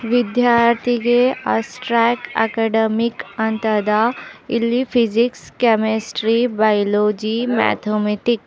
ವಿದ್ಯಾರ್ಥಿಗೆ ಅಸ್ತ್ರಾಕ್ ಅಕಾಡೆಮಿಕ್ ಅಂತಾದ ಇಲ್ಲಿ ಫಿಸಿಕ್ಸ್ ಕೆಮಿಸ್ಟ್ರಿ ಬಯಾಲಜಿ ಮ್ಯಾಥಮೆಟಿಕ್ --